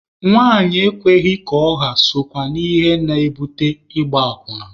Nwanyị ekweghị ka ọ ha sokwa na ihe na-ebute ịgba akwụna.